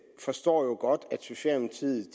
forstår at socialdemokratiet